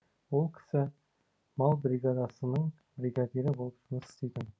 ол кісі мал бригадасының бригадирі болып жұмыс істейтін